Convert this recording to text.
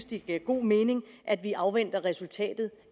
det giver god mening at vi afventer resultatet